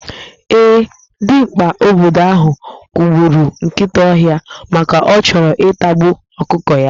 Ee, dimgba obodo ahụ kụgburu nkịta ọhịa maka ọ chọrọ ịtagbu ọkụkọ ya.